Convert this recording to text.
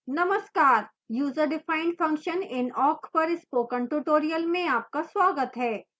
नमस्कार userdefined function in awk पर spoken tutorial में आपका स्वागत है